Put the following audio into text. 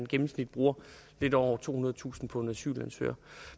gennemsnit bruger lidt over tohundredetusind kroner på en asylansøger